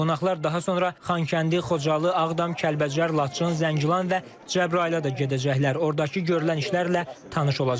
Qonaqlar daha sonra Xankəndi, Xocalı, Ağdam, Kəlbəcər, Laçın, Zəngilan və Cəbrayıla da gedəcəklər, ordakı görülən işlərlə tanış olacaqlar.